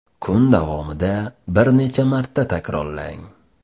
Kun davomida bir necha marta takrorlang.